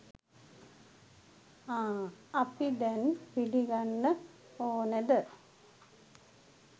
ආ අපි දැං පිළිගන්න ඕනෙද